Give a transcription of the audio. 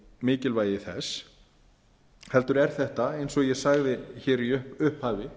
mikilvægi þess heldur er þetta eins og ég sagði í upphafi